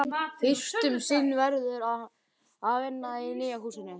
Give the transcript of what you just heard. Fyrst um sinn verður hann að vinna í nýja húsinu.